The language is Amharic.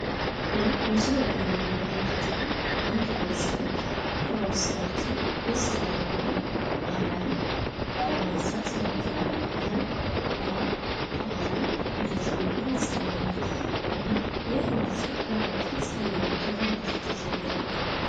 ይህ በምስሉ ላይ የምንመለከተው እንድ ማሽን ዉሃ ዉስጥ ገብቶ ዉስት ያለዉን አረም ለማንሳት ይሞክራል ። ይህም ዉሃ በአረም እንደተሞላ ያሳያል። እና ይህ ማሽን ለማውጣት እየሞከረ ነው።